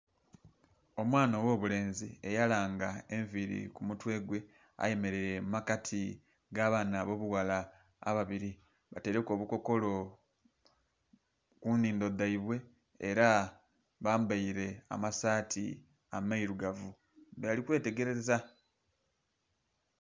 Omwana ogho bulenzi eya langa enviri ku mutwe gwe ayemereire mu makati ga baana abobughala ababiri bataireku obukokolo ku nhindho dhaibwe era bambaire ama saati ameirugavu nga bali kwetegereza.